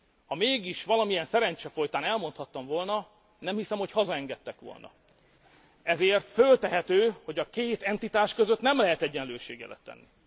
Ha mégis valamilyen szerencse folytán elmondhattam volna, nem hiszem, hogy hazaengedtek volna, ezért föltehető, hogy a két entitás között nem lehet egyenlőségjelet tenni.